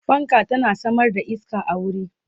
fanka tana Samar da iska a wuri